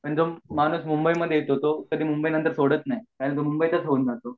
पण जो माणूस मुंबई मध्ये येतो तो कधी मुंबई नंतर सोदत नाही मुबई तच राहतो